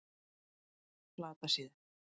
Flatasíðu